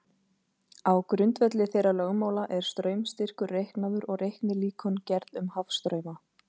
Á grundvelli þeirra lögmála er straumstyrkur reiknaður og reiknilíkön gerð um hafstrauma.